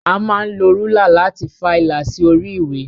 A máa ń lo rúlà láti fa ìlà sí orí ìwé.